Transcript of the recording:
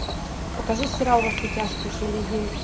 покажи сериал во все тяжкие серия девять